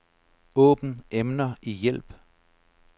Åbn emner i hjælp.